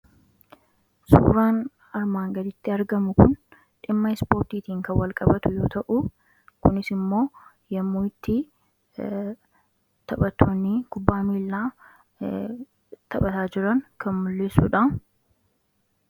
suuraan armaan gaditti argamu kun dhimma ispoortiitiin kan walqabatu yoo ta'u kunis immoo yommuu itti taphatooni kubbaa miillaa taphataa jiran kan mul'isuudha